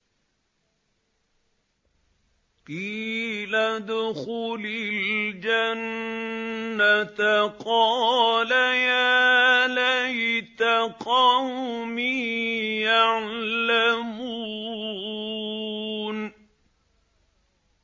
قِيلَ ادْخُلِ الْجَنَّةَ ۖ قَالَ يَا لَيْتَ قَوْمِي يَعْلَمُونَ